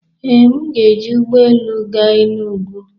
Ee, m ga-eji ụgbọ elu gaa Enugwu.